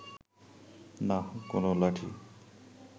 নাহ, কোনো লাঠি